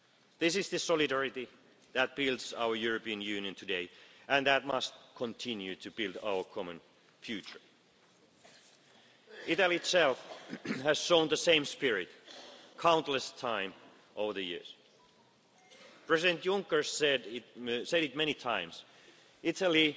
This is the solidarity that builds our European Union today and that must continue to build our common future. Italy itself has shown the same spirit countless times over the years. President Juncker said many times